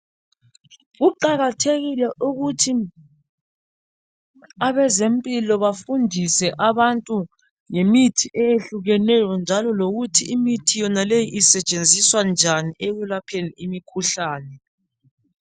Kuqakathekile ukuthi abezempilo bafundise abantu ngemithi eyehlukeneyo njalo lokuthi imithi yonaleyi isetshenziswa njani ekwelapheni imikhuhlane.